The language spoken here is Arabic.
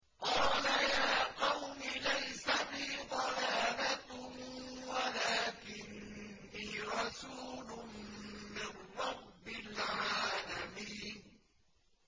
قَالَ يَا قَوْمِ لَيْسَ بِي ضَلَالَةٌ وَلَٰكِنِّي رَسُولٌ مِّن رَّبِّ الْعَالَمِينَ